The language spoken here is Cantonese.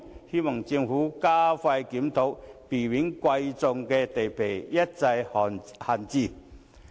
希望政府加快檢討，避免珍貴土地一再閒置。